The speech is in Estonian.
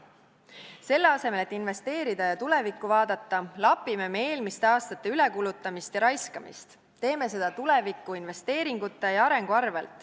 Selle asemel, et investeerida ja tulevikku vaadata, lapime me eelmiste aastate ülekulutamist ja raiskamist, teeme seda tulevikuinvesteeringute ja arengu arvel.